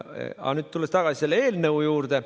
Aga tulen tagasi selle eelnõu juurde.